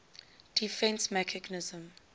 defence mechanism